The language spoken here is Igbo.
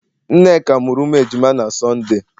Nneka muru umu ejima na Sọnde